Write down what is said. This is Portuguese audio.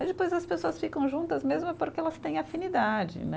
Mas depois as pessoas ficam juntas mesmo é porque elas têm afinidade, né?